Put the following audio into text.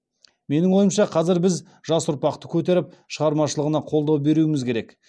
менің ойымша қазір біз жас ұрпақты көтеріп шығармашылығына қолдау беруіміз керек